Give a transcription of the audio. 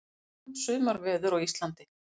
Áfram sumarveður á Íslandi